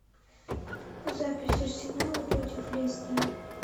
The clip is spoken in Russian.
запись арсенала против лестера